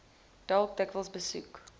dalk dikwels besoek